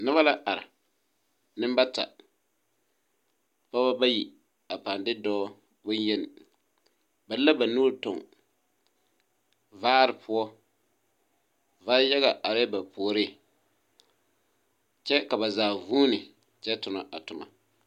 Noba la are. Nembata. Pɔgeba bayi a pãã de dɔɔ bonyeni. Ba de la ba nuuri tuŋ, vaare poɔ. Va-yaga arɛɛ ba puoriŋ, kyɛ ka ba zaa vuuni kyɛ tonɔ a toma.